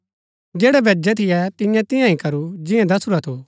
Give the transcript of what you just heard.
जैड़ै भैजै थियै तियें तियां ही करू जिंआं दसुरा थू